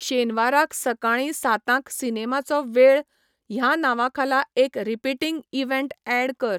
शेनवाराक सकाळीं सातांक सिनेमाचो वेळ ह्या नांवाखाला एक रीपीटींग इवँट ऍड कर